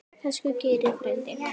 Elsku Geiri frændi.